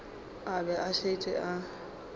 a be a šetše a